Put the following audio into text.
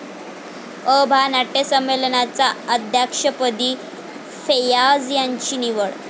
अ.भा. नाट्यसंमेलनाच्या अध्यक्षपदी फैय्याज यांची निवड